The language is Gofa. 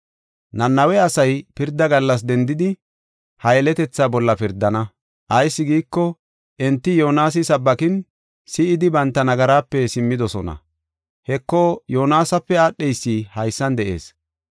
Nanawe asay pirda gallas dendidi ha yeletethaa bolla pirdana; ayis giiko, enti Yoonasi sabbakin, si7idi banta nagaraape simmidosona. Heko, Yoonasape aadheysi haysan de7ees.